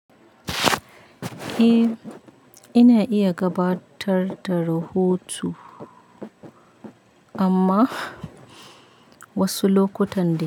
Eh, ina iya gabatar da rahoto, amma wasu lokutan dai.